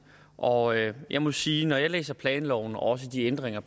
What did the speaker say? og jeg må sige at når jeg læser planloven og også de ændringer